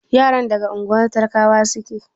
Yaran daga unguwar talakawa suke?